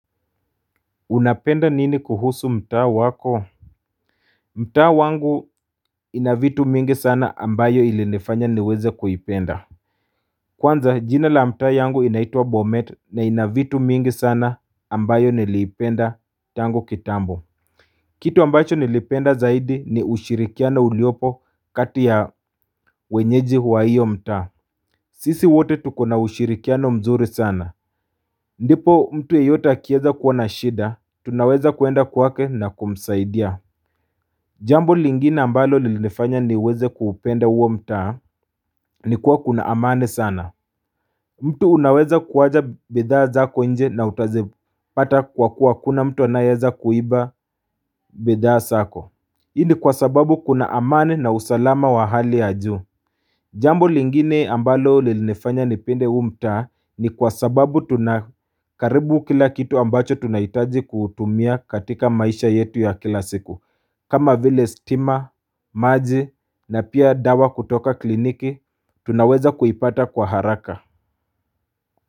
Unapenda nini kuhusu mtaa wako? Mtaa wangu inavitu mingi sana ambayo ilinafanya niweze kuipenda Kwanza jina la mta yangu inaitwa Bomet na inavitu mingi sana ambayo niliipenda tango kitambo Kitu ambacho nilipenda zaidi ni ushirikiana uliopo kati ya wenyeji wa hiyo mtaa sisi wote tuko na ushirikiano mzuri sana ndipo mtu yeyota kieza kuona shida tunaweza kuenda kwake na kumzaidia Jambo lingine ambalo li nifanya niweze kupenda huo mtaa ni kuwa kuna amani sana mtu unaweza kuwacha bidhaa zako nje na utazipata kwa kuwa hakuna mtu anayeza kuiba bidhaa zako Hii ni kwa sababu kuna amani na usalama wa hali ya juu Jambo lingine ambalo lilinifanya nipende huu mtaa ni kwa sababu tunakaribu kila kitu ambacho tunaitaji kutumia katika maisha yetu ya kila siku kama vile stima, maji na pia dawa kutoka kliniki, tunaweza kuipata kwa haraka.